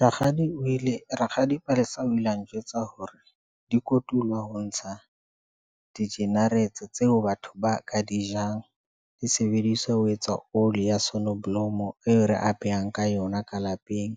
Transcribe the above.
Rakgadi o ile, rakgadi Palesa o ile a njwetsa hore di kotulwa ho ntsha di-generates tseo batho ba ka di jang di sebediswa. Ho etsa oli ya sonoblomo e re a behang ka yona ka lapeng.